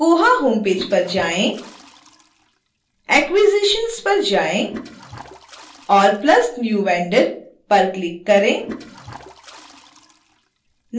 koha homepage पर जाएँ acquisitions पर जाएँ और plus new vendor पर click करें